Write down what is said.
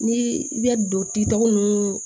Ni i bɛ don kitugu ninnu